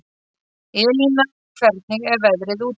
Elína, hvernig er veðrið úti?